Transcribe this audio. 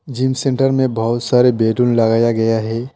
Gym centre में बहुत सारे बैलून लगाया गया है।